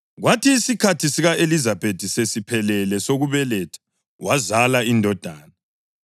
Kwathi isikhathi sika-Elizabethi sesiphelele esokubeletha wazala indodana.